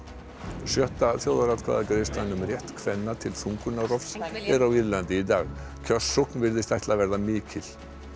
sjötta þjóðaratkvæðagreiðslan um rétt kvenna til þungurnarrofs er á Írlandi í dag kjörsókn virðist ætla að verða mikil